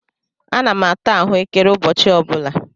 Ana m ata ahụekere ụbọchị ọ bụla.